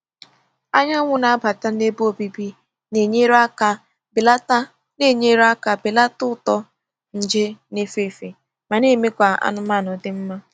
Anyanwụ na-abata n’ebe obibi na-enyere aka belata na-enyere aka belata uto nje n'efe efe ma na-eme ka anụmanụ dị mma.